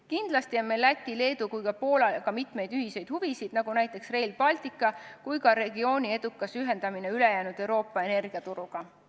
Kindlasti on meil Läti, Leedu ja ka Poolaga mitmeid ühiseid huvisid, näiteks Rail Baltic ning ka regiooni edukas ühendamine ülejäänud Euroopa energiaturuga.